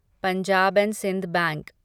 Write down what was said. Punjab and Sind bank